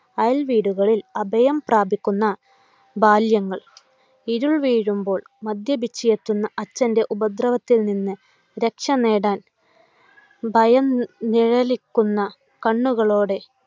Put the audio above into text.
അയൽ വീടുകളിൽ അഭയം പ്രാപിക്കുന്ന ബാല്യങ്ങൾ! ഇരുൾവീഴുമ്പോൾ മദ്യപിച്ചെത്തുന്ന അച്ഛൻ്റെ ഉപദ്രവത്തിൽ നിന്നു രക്ഷനേടാൻ ഭയം നിഴലിക്കുന്ന കണ്ണുകളോടെ